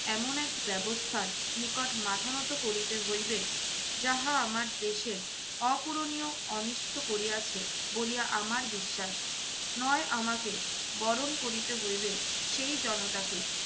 এমন এক ব্যবস্থার নিকট মাথা নত করিতে হইবে যাহা আমার দেশের অপূরণীয় অনিষ্ট করিয়াছে বলিয়া আমার বিশ্বাস। নয় আমাকে বরণ করিতে হইবে সেই জনতাকে